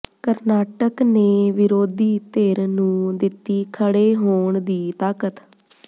ਕਰਨਾਟਕ ਨੇ ਵਿਰੋਧੀ ਧਿਰ ਨੂੰ ਦਿੱਤੀ ਖੜ੍ਹੇ ਹੋਣ ਦੀ ਤਾਕਤ